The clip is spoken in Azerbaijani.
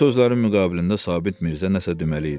Bu sözlərin müqabilində Sabit Mirzə nəsə deməli idi.